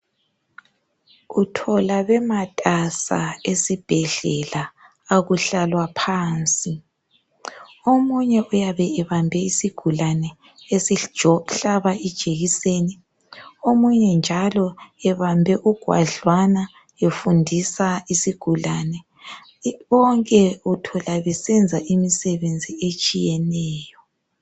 Uthola bematasa esibhedlela akuhlalwa phansi omunye uyabe ebambe isigulane esihlaba ijekiseni, omunye njalo ebambe ugwadlwana efundisa isigulane bonke uthola besenza imisebenzi etshiyeneyo.